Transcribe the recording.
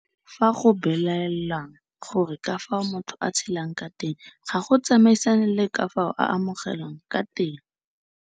Fa go belaelwang gore ka fao motho a tshelang ka teng ga go tsamaisane le ka fao a amogelang ka teng.